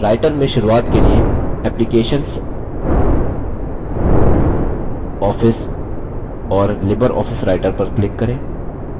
writer में शुरूआत के लिए applications office और libreoffice writer पर क्लिक करें